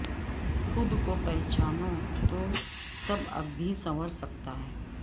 خود کو پہچانو تو سب اب بھی سنور سکتا ہے